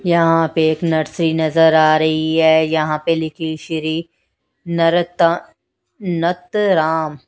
यहां पे एक नर्सरी नजर आ रही है यहां पे लिखी श्री नरता नतराम।